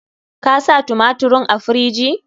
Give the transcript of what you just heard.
Ka sa tumatirin a firiji?